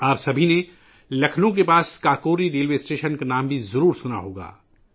آپ سب نے لکھنؤ کے قریب کاکوری ریلوے اسٹیشن کا نام بھی سنا ہوگا